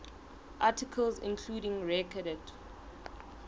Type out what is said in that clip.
articles including recorded